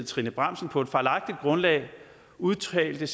trine bramsen på et fejlagtigt grundlag udtalte